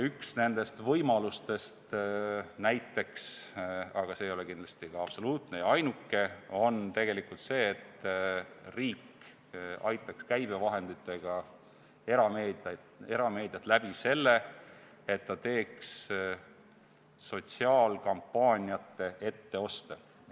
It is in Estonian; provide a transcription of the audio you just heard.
Üks nendest võimalustest näiteks – aga see ei ole kindlasti absoluutne ja ainuke – on see, et riik aitaks käibevahenditega erameediat nii, et ta teeks sotsiaalkampaaniate etteoste.